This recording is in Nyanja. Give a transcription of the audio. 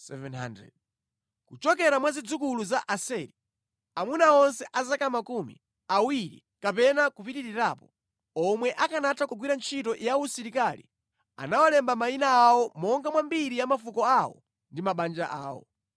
Kuchokera mwa zidzukulu za Aseri: Amuna onse a zaka makumi awiri kapena kupitirirapo, omwe akanatha kugwira ntchito ya usilikali anawalemba mayina awo monga mwa mbiri ya mafuko awo ndi mabanja awo.